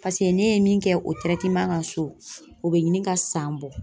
paseke ne ye min kɛ o kan so ,o be ɲini ka san bɔ.